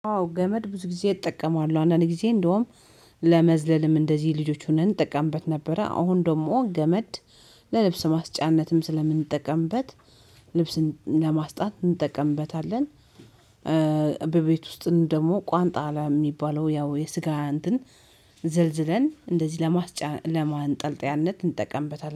ዋው ገመድ ብዙ ጊዜ እጠቀማለሁ አንዳንዴ ጊዜ እንደውም ለመዝለልም እንደዚህ ልጆች ሆነን እጠቀምበት ነበረ። አሁን ደግሞ ገመድ ለልብስ ማስጫነትም ስለምንጠቀምበት ልብስን ለማስጣት እንጠቀምበታለን። በቤት ውስጥ ደግሞ ቋንጣ ለሚባለው ያው የስጋ እንትን ዘልዝለን እንደዚህ ለማንጠልጠያነት እንጠቀምበታለን